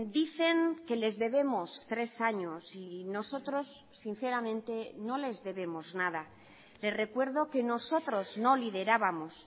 dicen que les debemos tres años y nosotros sinceramente no les debemos nada le recuerdo que nosotros no liderábamos